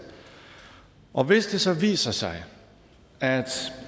og hvis det så viser sig at